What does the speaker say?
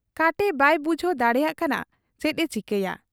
ᱠᱟᱴᱮ ᱵᱟᱭ ᱵᱩᱡᱷᱟᱹᱣ ᱫᱟᱲᱮᱭᱟᱜ ᱠᱟᱱᱟ ᱪᱮᱫ ᱮ ᱪᱤᱠᱟᱹᱭᱟ ᱾